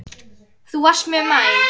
Þú varst mjög næm.